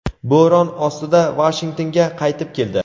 bo‘ron ostida Vashingtonga qaytib keldi.